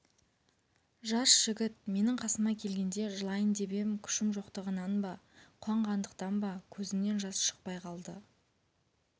жас жігіт менің қасыма келгенде жылайын деп ем күшім жоқтығынан ба қуанғандықтан ба көзімнен жас шықпай қалды